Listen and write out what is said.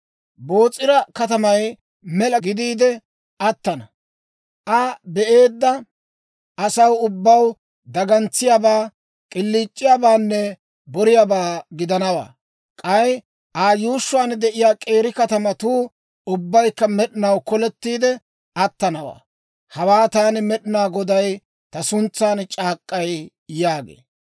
Boos'ira katamay mela gidiide attana; Aa be'eedda asaw ubbaw dagantsiyaabaa, k'iliic'iyaabaanne boriyaabaa gidanawaa. K'ay Aa yuushshuwaan de'iyaa k'eeri katamatuu ubbaykka med'inaw kolettiide attanawaa. Hawaa taani Med'inaa Goday ta suntsan c'aak'k'ay» yaagee.